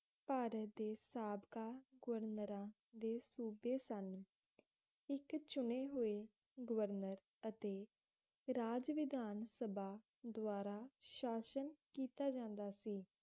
ਭਾਰਤ ਦੇ ਸਾਬਕਾ ਗੁਰਨਰਾ ਦੇ ਸੂਬੇ ਸਨ ਇੱਕ ਚੁਣੇ ਹੋਏ ਗਵਰਨਰ ਅਤੇ ਰਾਜ ਵਿਧਾਨ ਸਭਾ ਦਵਾਰਾ ਸ਼ਾਸ਼ਨ ਕੀਤਾ ਜਾਂਦਾ ਸੀ